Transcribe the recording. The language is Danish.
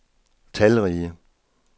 talrige